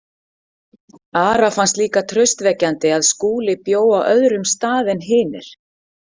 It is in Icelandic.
Ara fannst líka traustvekjandi að Skúli bjó á öðrum stað en hinir.